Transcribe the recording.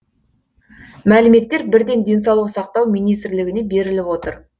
мәліметтер бірден денсаулық сақтау министрлігіне беріліп отыр